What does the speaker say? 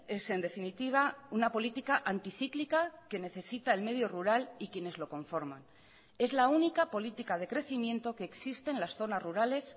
es en definitiva una política anticíclica que necesita el medio rural y quienes lo conforman es la única política de crecimiento que existe en las zonas rurales